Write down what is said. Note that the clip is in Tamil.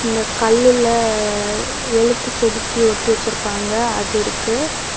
இந்தக் கல்லுல எழுத்துச்செதுக்கி ஒட்டி வச்சிருக்காங்க அது இருக்கு.